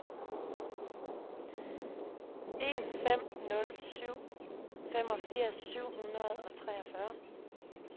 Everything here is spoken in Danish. en fem nul syv femogfirs syv hundrede og treogfyrre